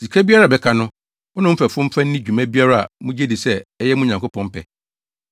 Sika biara a ɛbɛka no, wo ne wo mfɛfo mfa nni dwuma biara a mugye di sɛ ɛyɛ mo Nyankopɔn pɛ.